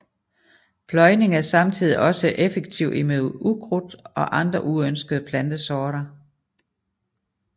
Pløjning er samtidig også effektiv imod ukrudt og andre uønsket plantesorter